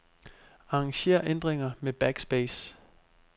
Arranger ændringer med backspace.